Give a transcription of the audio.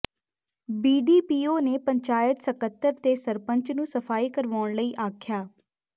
BDPO ਨੇ ਪੰਚਾਇਤ ਸਕੱਤਰ ਤੇ ਸਰਪੰਚ ਨੂੰ ਸਫ਼ਾਈ ਕਰਵਾਉਣ ਲਈ ਆਖਿਆ